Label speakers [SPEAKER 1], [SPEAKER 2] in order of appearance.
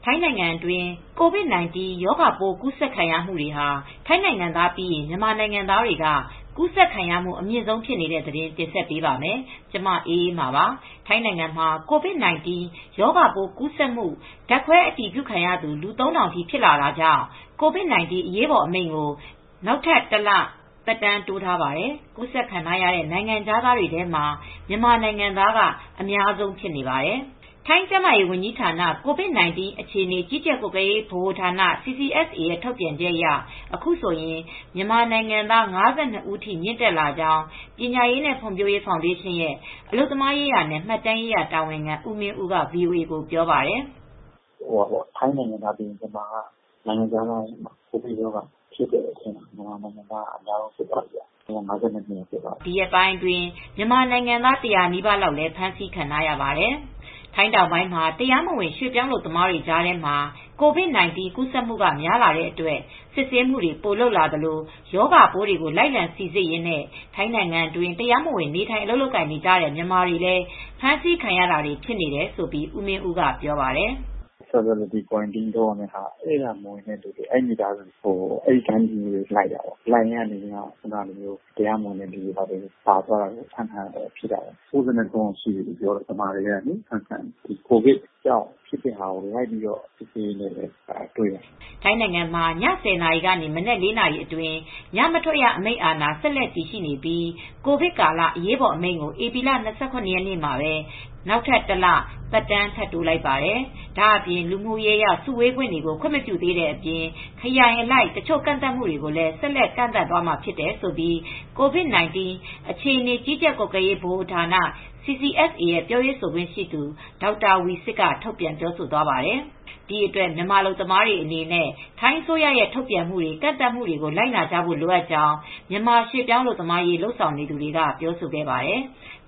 [SPEAKER 1] ိုင်းနိုင်ငံတွင်း COVID-19 ရောဂါပိုးကူးစက်ခံရမှုဟာ ထိုင်းနိုင်ငံသားပြီးရင် မြန်မာနိုင်ငံသားတွေက ကူးစက်ခံရမှု အမြင့်ဆုံးဖြစ်နေတဲ့သတင်း တင်ဆက်ပေးပါမယ်။ ဒီအကြောင်း ဗွီအိုအေမြန်မာပိုင်းသတင်းထောက် မအေးအေးမာက တင်ပြပေးပါမယ်။ ထိုင်းနိုင်ငံမှာ COVID-9 ရောဂါပိုးကူးစက်မှု ဓါတ်ခွဲအတည်ပြုခံရသူ လူ ၃,၀၀၀ ထိဖြစ်လာတာကြောင့် COVID-19 အရေးပေါ်အမိန့်ကို နောက်ထပ် တလ သက်တမ်းတိုးထားပါတယ်။ ကူးစက်ခံရတဲ့ နိုင်ငံခြားသားတွေထဲမှာ မြန်မာနိုင်ငံသားက အများဆုံးဖြစ်နေပါတယ်။ထိုင်းကျန်းမာရေးဝန်ကြီးဌာန COVID-19 အခြေအနေကြီးကြပ်ကွပ်ကဲရေးဗဟိုဌာန ရဲ့ ထုတ်ပြန်ချက်အရ အခုဆိုရင်မြန်မာနိုင်ငံသား ၅၂ ဦးထိ မြင့်တက်လာကြောင်း ပညာရေးနဲ့ ဖွံ့ဖြိုးရေးဖောင်ဒေးရှင်းရဲ့ အလုပ်သမားရေးရာနဲ့ မှတ်တမ်းရေးရာတာဝန်ခံဦးမင်းဦးက VOA ကို ပြောပါတယ်
[SPEAKER 2] ။ "ထိုင်းနိုင်ငံသားပြီးရင် နိုင်ငံခြားသားထဲမှာ မြန်မာနိုင်ငံသားက ကိုဗစ်ရောဂါကူးစက်မှုက အများဆုံးဖြစ်သွားပြီ အခုဆို ၅၂ ယောက်ရှိသွား
[SPEAKER 1] ပြီ ဒီရက်ပိုင်းအတွင်း မြန်မာနိုင်ငံသား ၁၀၀ နီးပါးလောက်လည်း ဖမ်းဆီးခံထားရပါတယ်။" ထိုင်းတောင်ပိုင်းမှာ တရားမဝင် ရွှေ့ပြောင်းအလုပ်သမားတွေကြားထဲမှာ COVID-19 ကူးစက်မှုက များလာတဲ့အတွက် စစ်ဆေးမှုတွေ ပိုလုပ်လာသလို ရောဂါပိုး လိုက်လံစီစစ်ရင်းနဲ့ ထိုင်းနိုင်ငံတွင်း တရားမဝင် နေထိုင်လုပ်ကိုင်နေတဲ့ မြန်မာတွေလည်း ဖမ်းဆီးခံရတာတွေ ဖြစ်နေတယ်လို့ ဦးမင်းဦးက ပြောပါတယ်
[SPEAKER 2] ။ "Quarantine လုပ်ဖို့ မဝင်တဲ့သူတွေကို လိုက်ရင်းနဲ့ တရားမဝင်လူတွေ ဖမ်းခံရတာ ၉၃ ဦးရှိပြီ မြန်မာတွေထဲကပါ။ ကိုဗစ်ကြောင့်လိုက်ပြီး စစ်ဆေးရင်းနဲ့ တရားမဝင်လူတွေကို တွေ့
[SPEAKER 1] ပြီး ဖမ်းမိတာပါ။" ထိုင်းနိုင်ငံမှာ ည ၁၀ နာရီကနေမနက် ၄ နာရီအတွင်း ညမထွက်ရအမိန့် အာဏာဆက်တည်နေပြီး ကိုဗစ်ကာလ အရေးပေါ် အမိန့်ကို ဧပြီလ ၂၇ ရက်မှာပဲ နောက်ထပ်တလ သက်တမ်း ထပ်တိုးလိုက်ပါတယ်။ ဒါ့အပြင်လူမှုရေးအရ စုဝေးခွင့်တွေကို ခွင့်မပြုသေးတဲ့အပြင် ခရိုင်အလိုက် တချို့ကန့်သတ်မှုတွေကိုလည်း ဆက်လက်ကန့်သတ်သွားမှာ ဖြစ်တယ်လို့ COVID-19 အခြေအနေကြီးကြပ်ကွပ်ကဲရေးဗဟိုဌာန ရဲ့ပြောရေးဆိုခွင့်ရှိသူ ဒေါက်တာတာဝီဆစ်က ထုတ်ပြန်ပြောဆိုသွားပါတယ်။ ဒီအတွက် မြန်မာအလုပ်သမားတွေအနေနဲ့ ထိုင်းအစိုးရရဲ့ ထုတ်ပြန်မှုတွေ ကန့်သတ်မှုတွေကို လိုက်နာဖို့ လိုအပ်ကြောင်း မြန်မာရွှေ့ပြောင်းအလုပ်သမားရေး လုပ်ဆောင်နေသူတွေက ပြောဆိုခဲ့ပါတယ်။